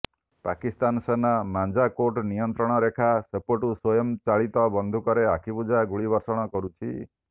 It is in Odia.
ପାକିସ୍ତାନ ସେନା ମାଞ୍ଜାକୋଟ ନିୟନ୍ତ୍ରଣ ରେଖା ସେପଟୁ ସ୍ୱୟଂ ଚାଳିତ ବନ୍ଧୁକରେ ଆଖିବୁଜା ଗୁଳି ବର୍ଷଣ କରୁଛି